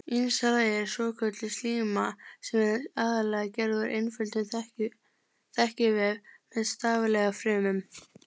Innsta lagið er svokölluð slíma sem er aðallega gerð úr einföldum þekjuvef með staflaga frumum.